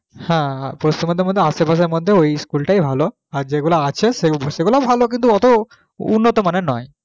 হ্যাঁ হ্যাঁ পশ্চিমবঙ্গের মধ্যে আসে পাশের মধ্যে ঐ school টাই ভালো আর যেগুলো আছে সেগুলোও ভালো কিন্তু অত উন্নতমানের নয়